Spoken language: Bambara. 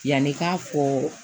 Yanni i k'a fɔ